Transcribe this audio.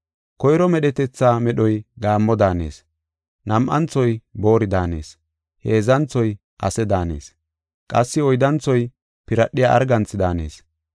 Koyro medhetetha medhoy gaammo daanees; nam7anthoy boori daanees; heedzanthoy ase daanees; qassi oyddanthoy piradhiya arganthi daanees.